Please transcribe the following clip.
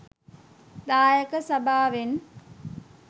දායක සභාවෙන්